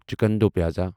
chicken do pyaza